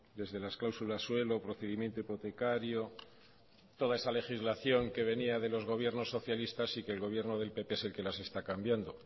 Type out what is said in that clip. desde las cláusulas suelo procedimiento hipotecario toda esa legislación que venía de los gobiernos socialistas y que el gobierno del pp es el que las está cambiando